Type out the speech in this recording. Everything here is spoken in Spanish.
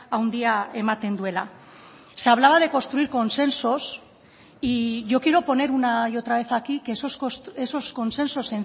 handia ematen duela se hablaba de construir consensos y yo quiero poner una y otra vez aquí que esos consensos